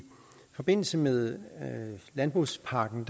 forbindelse med landbrugspakken